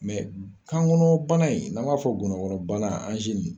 Mɛ kan kɔnɔbana in n'an b'a fɔ ngɔnɔnkɔnɔbana